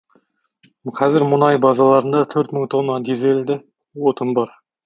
қазір мұнай базаларында төрт мың тонна дизельді отын бар